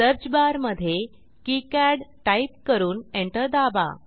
search बारमधे किकाड type करून एंटर दाबा